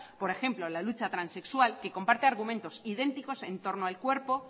por ejemplo la lucha transexual que comparte argumentos idénticos en torno al cuerpo